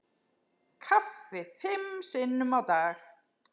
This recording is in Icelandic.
Kaffi fimm sinnum á dag.